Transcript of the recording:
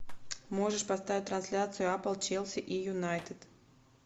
можешь поставить трансляцию апл челси и юнайтед